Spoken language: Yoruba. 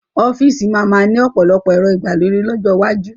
Ọ́fíìsì máa ma ni ọ̀pọ̀lọpọ̀ ẹ̀rọ ìgbàlódé lọ́jọ́ iwájú